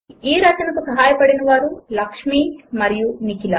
ఈ రచనకు సహాయపడినవారు లక్ష్మి మరియు నిఖిల